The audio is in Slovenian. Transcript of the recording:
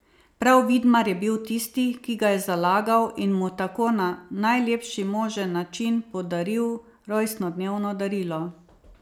Prav Vidmar je bil tisti, ki ga je zalagal in mu tako na najlepši možen način podaril rojstnodnevno darilo.